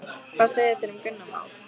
Hvað segja þeir um Gunnar Már?